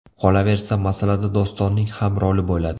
Qolaversa, masalada Dostonning ham roli bo‘ladi.